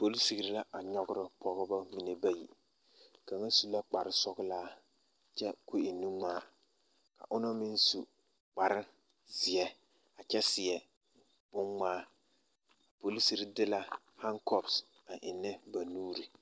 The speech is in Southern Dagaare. Polisiri la a nyɔɡerɔ pɔɡebɔ mine bayi kaŋa su la kparsɔɡelaa kyɛ ka o e nuŋmaa ka onaŋ meŋ su kparzeɛ a kyɛ seɛ bonŋmaa polisiri de la hakɔps a ennɛ ba nuuriŋ.